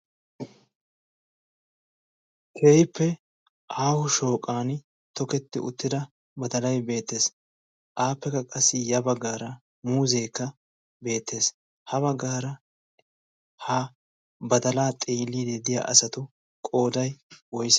Keehippe aaho shooqan tooheti uttida badalay beettees. appekka qassi ya baggara muuzekka beettees. ha baggara badala xeelide de'iyaa asatu qooday woysse?